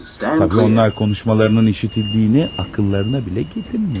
Təbii, onlar danışıqlarının eşidildiyini ağıllarına belə gətirmirlər.